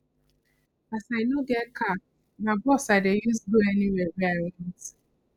as i no get car na bus i dey use go anywhere wey i want